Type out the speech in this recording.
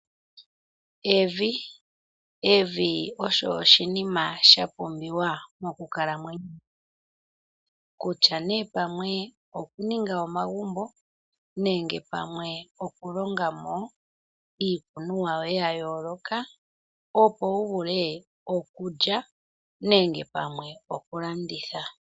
Evi osho oshinima sha pumbiwa mokukalamwenyo, kutya nee pamwe oku ninga omagumbo nenge pamwe okulonga mo iikunuwa yoye ya yooloka opo wu vule okulya nenge pamwe oku landitha.